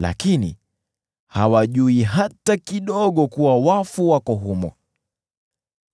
Lakini hawajui hata kidogo kuwa wafu wako humo,